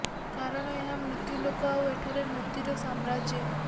କାରଣ ଏହା ମୃତ୍ୟୁ ଲୋକ ଆଉ ଏଠାରେ ମୃତ୍ୟୁର ସାମ୍ରାଜ୍ୟ